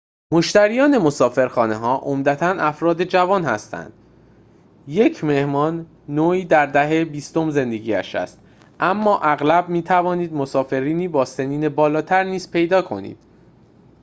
مشتریان مسافرخانه‌ها عمدتاً افراد جوان هستند یک مهمان نوعی در دهه بیستم زندگی‌اش است اما اغلب می‌توانید مسافرانی با سنین بالاتر نیز پیدا کنید